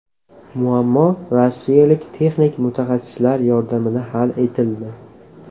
Muammo rossiyalik texnik mutaxassislar yordamida hal etildi.